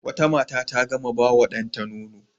Wata mace ta gama ba wa ɗanta nono.